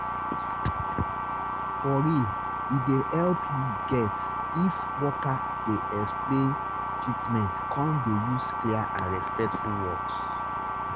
for real e dey help you get if worker dey explain treatment come dey use clear and respectful words